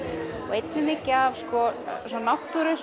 einnig mikið af náttúru